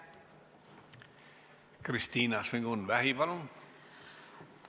Kristina Šmigun-Vähi, palun!